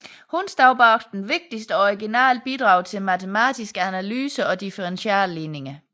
Hun stod bag vigtige og originale bidrag til matematisk analyse og differentialligninger